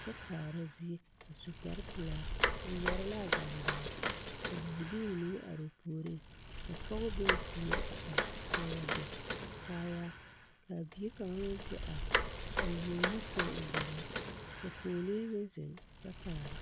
kyɛ kaara zie a su kpare pelaa o yɛre l'a gaŋgaa ka bibilii mine are o puoriŋ ka pɔge be o puori a are a seɛ wagyɛ kaayaa k'a bie kaŋa meŋ te are a leɛ o nu tɔ o gbedaa ka pɔgelee meŋ zeŋ kyɛ kaara.